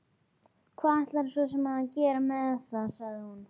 Hvað ætlarðu svo sem að gera með það, sagði hún.